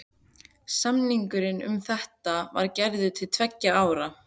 Samningur um þetta var gerður til tveggja ára.